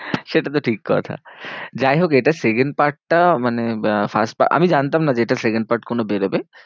সেটা তো ঠিক কথা। যাইহোক এটার second part টা মানে first part আমি জানতাম না যে এটা second part কোনো বেরোবে।